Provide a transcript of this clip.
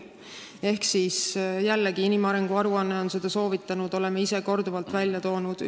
Ehk mida on inimarengu aruandes soovitatud, mida me oleme ise korduvalt välja toonud?